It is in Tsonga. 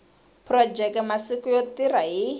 phurojeke masiku yo tirha hi